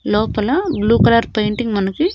లోపల blue colour painting మనకి.